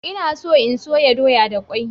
Ina so in soya doya da kwai.